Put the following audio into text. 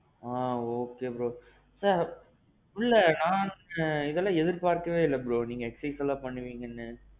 ஆ. okay bro. ஆ. உள்ள நானுமே எதிர்பாக்கவே இல்ல bro நீங்க exercise எல்லாம் பண்ணுவீங்கன்னு.